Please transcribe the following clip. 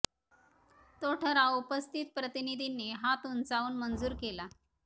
तो ठराव उपस्थित प्रतिनिधींनी हात उंचावून मंजूर केला